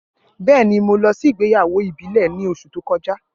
Bẹẹni, Mo lọ si igbeyawo ibile ni oṣu to kọja.